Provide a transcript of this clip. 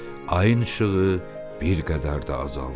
Ayın işığı bir qədər də azaldı.